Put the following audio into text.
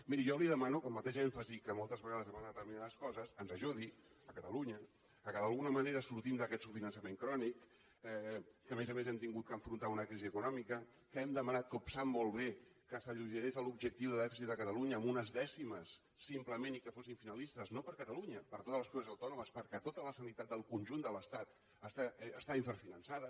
miri jo li demano que amb el mateix èmfasi amb què moltes vegades demana determinades coses ens ajudi a catalunya que d’alguna manera sortim d’aquest subfinançament crònic que a més a més hem hagut d’enfrontar una crisi econòmica que hem demanat com sap molt bé que s’alleugerís l’objectiu de dèficit de catalunya en unes dècimes simplement i que fossin finalistes no per a catalunya per a totes les comunitats autònomes perquè tota la sanitat del conjunt de l’estat està infrafinançada